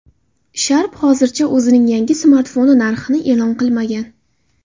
Sharp hozircha o‘zining yangi smartfoni narxini e’lon qilmagan.